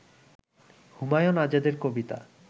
হুমায়ুন আজাদের কবিতা